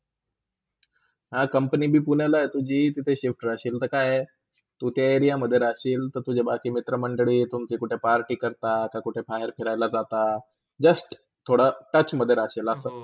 हा, Company पण पुणेला आहे तुझी तिथ shift रहशील ते काय आहे, तू त्या area मधे रहशील तुझ्या बाकी मित्रा मंडळी तुमची कुठ party करता, कुठे फार खेळयलं जातात just थोडा touch मधे राहशील असा.